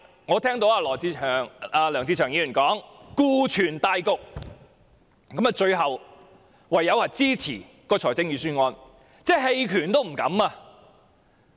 我聽到梁志祥議員說要顧全大局，最後唯有支持預算案，連棄權也不敢。